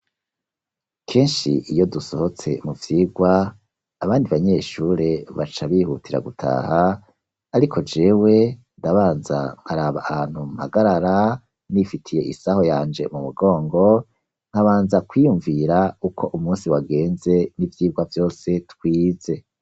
Kenshi iyo dusohotse mu vyigwa, abandi banyeshure, baca bihutira gutaha; ariko jewe ndabanza nkaraba ahantu mpagarara, nifitiye isaho yanje mu mugongo, nkabanza kwiyumvira uko umunsi wagenze, n'ivyigwa vyose twize.